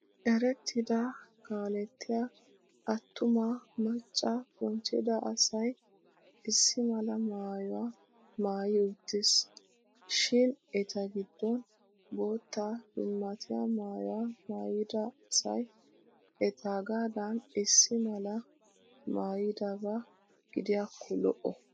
Erettida kaalettiya attuma macca bonchcheda asay issi mala maayuwaa maayi uttis. Shin eta giddon bootta dummatiyaa maayuwaa maayida asay etaagaadan issi malaa mayidaba gidiyakko lo'o.